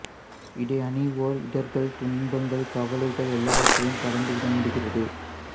இதை அணிவோர் இடர்கள் துன்பங்கள் கவலைகள் எல்லாவற்றையும் கடந்து விட முடிகிறது